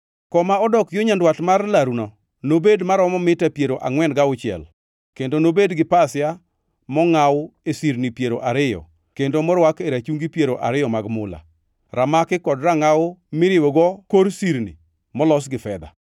Koma odok yo nyandwat mar laruno nobed maromo mita piero angʼwen gauchiel kendo nobed gi pasia mongʼaw e sirni piero ariyo kendo morwak e rachungi piero ariyo mag mula; ramaki kod rangʼaw miriwogo kor sirni molos gi fedha.